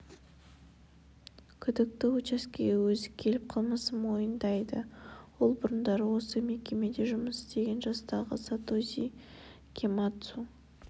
күдікті учаскеге өзі келіп қылмысын мойындайды ол бұрындары осы мекемеде жұмыс істеген жастағы сатоси кэмацу